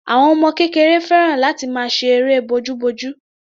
Àwọn ọmọ kékeré fẹ́ràn láti máa ṣe eré bojúbojú.